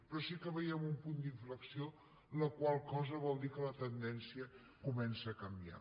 però sí que veiem un punt d’inflexió la qual cosa vol dir que la tendència comença a canviar